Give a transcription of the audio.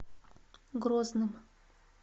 грозным